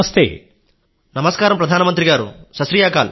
నమస్కారం గౌరవనీయ ప్రధాన మంత్రి గారూ సత్ శ్రీ అకాల్